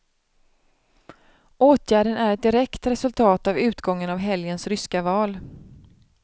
Åtgärden är ett direkt resultat av utgången av helgens ryska val.